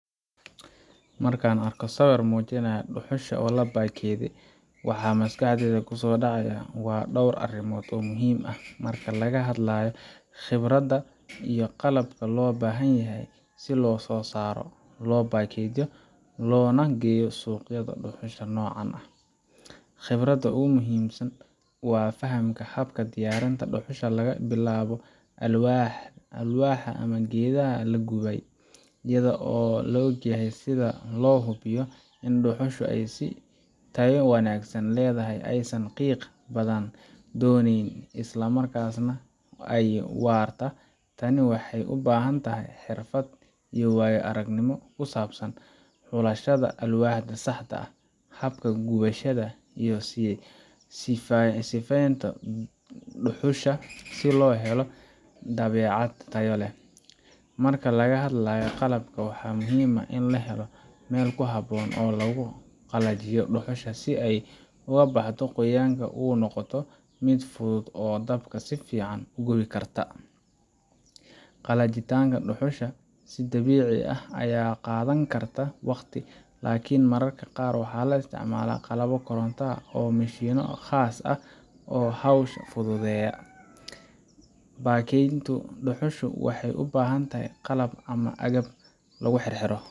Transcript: Marka aan arko sawir muujinaya dhuxusha la baakadeeyey waxa maskaxda ku soo dhacaya dhowr arrimood oo muhiim ah marka laga hadlayo khibradda iyo qalabka loo baahan yahay si loo soo saaro, loo baakadeeyo, loona suuq geeyo dhuxusha noocan ah. Khibradda ugu muhiimsan waa fahamka habka diyaarinta dhuxusha laga soo bilaabo alwaaxa ama geedaha la gubay, iyada oo la ogyahay sida loo hubiyo in dhuxushu ay tayo wanaagsan leedahay, aysan qiiq badan soo dayn, isla markaana ay waarta. Tani waxay u baahan tahay xirfad iyo waayo aragnimo ku saabsan xulashada alwaaxa saxda ah, habka gubashada, iyo sifaynta dhuxusha si loo helo badeecad tayo leh. Marka laga hadlayo qalabka, waxaa muhiim ah in la helo meel ku habboon oo lagu qalajiyo dhuxusha si ay uga baxdo qoyaanka una noqoto mid fudud oo dabka si fiican u gubi karta. Qalajinta dhuxusha si dabiici ah ayaa qaadan karta waqti, laakiin mararka qaar waxaa la isticmaalaa qalab koronto ama mishiinno khaas ah oo hawsha fududeeya. Baakadaynta dhuxusha waxay u baahan tahay qalab ama agab lagu xirxiro.